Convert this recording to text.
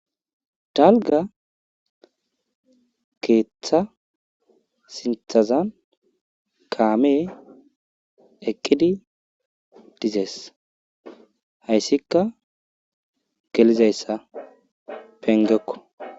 Dalgga keetha sinthazan kaamee eqqidi dizes haysikka gelizayssa penggekko.